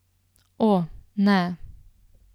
O, ne.